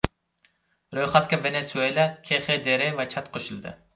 Ro‘yxatga Venesuela, KXDR va Chad qo‘shildi.